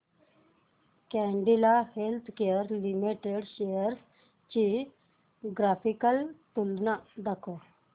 Cadila healthcare limited shares ची graphical तुलना दाखव